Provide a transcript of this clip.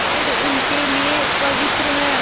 पेड़ उनके लिए पवित्र हैं